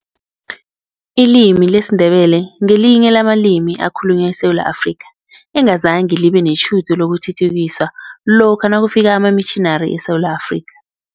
Ilimi lesiNdebele ngelinye lamalimi ekhalunywa eSewula Afrika, engazange libe netjhudu lokuthuthukiswa lokha nakufika amamitjhinari eSewula Afrika.